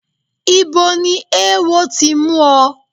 Ibo ni ewo ti mú ọ?